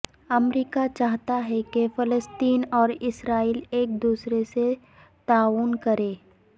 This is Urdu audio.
امریکہ چاہتا ہے کہ فلسطین اور اسرائیل ایک دوسرے سے تعاون کریں